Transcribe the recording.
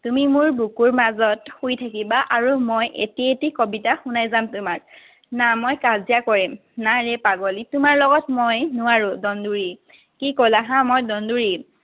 তুমি মোৰ বুকুৰ মাজত শুই থাকিবা আৰু মই এটি এটি কবিতা শুনাই যাম তোমাক। না, মই কাজিয়া কৰিম। না ৰে পাগলী, তোমাৰ লগত মই নোৱাৰো, দন্দুৰী। কি কলা হাঁ? মই দন্দুৰী?